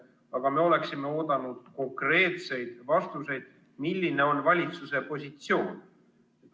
Aga me ootasime konkreetseid vastuseid, milline on valitsuse positsioon.